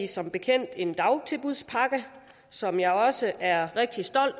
som bekendt en dagtilbudspakke som jeg også er rigtig stolt